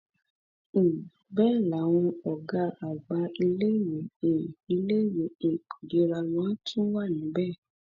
um bẹẹ làwọn ọgá àgbà iléèwé um iléèwé um girama tún wà níbẹ